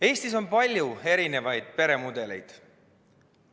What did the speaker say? Eestis on palju erinevaid peremudeleid.